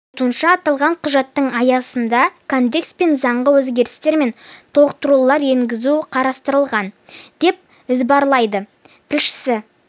айтуынша аталған құжаттың аясында кодекс пен заңға өзгерістер мен толықтырулар енгізу қарастырылған деп іабарлайды тілшісі